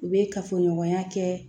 U bɛ kafoɲɔgɔnya kɛ